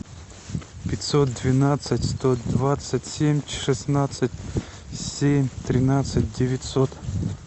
пятьсот двенадцать сто двадцать семь шестнадцать семь тринадцать девятьсот